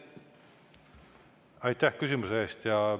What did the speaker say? Aitäh küsimuse eest!